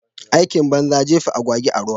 Aikin banza jefa agwagwa a ruwa.